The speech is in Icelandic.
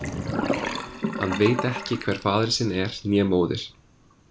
Hann veit ekki hver faðir sinn er, né móðir.